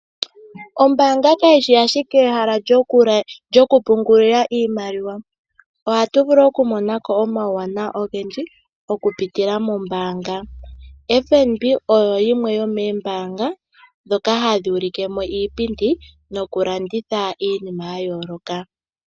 Ombaanga kayi shi ashike ehala lyokupungula iimaliwa. Ohatu vulu okumona ko omauwanawa ogendji okupitila mombaanga. FNB oyo yimwe yomoombanga ndhoka hadhi ulike mo iipindi nokulanditha iinima ya yooloka.